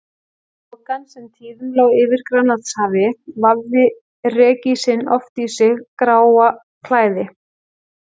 Þokan, sem tíðum lá yfir Grænlandshafi, vafði rekísinn oft í sitt gráa klæði.